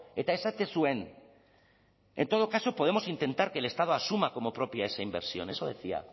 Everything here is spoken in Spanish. eta esaten zuen en todo caso podremos intentar que el estado asuma como propias esa inversión eso decía